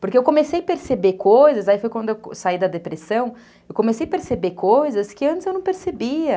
Porque eu comecei a perceber coisas, aí foi quando eu saí da depressão, eu comecei a perceber coisas que antes eu não percebia.